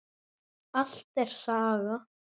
Allt er saga.